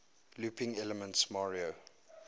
looping elements mario